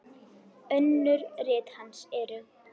Önnur rit hans eru